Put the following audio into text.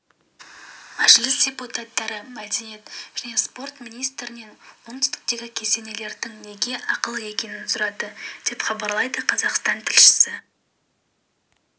мәжіліс депутаттары мәдениет және спорт министрінен оңтүстіктегі кесенелердің неге ақылы екенін сұрады деп хабарлайды қазақстан тілшісі